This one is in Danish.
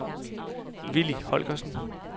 Villy Holgersen